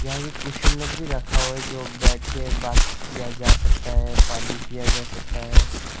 यहां पे कुशन लोग भी रखा हुआ है जो बैठ के बात किया जा सकता है पानी पिया जा सकता है।